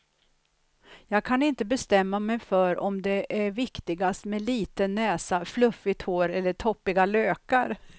Jag kan inte bestämma mig för om det är viktigast med liten näsa, fluffigt hår eller toppiga lökar.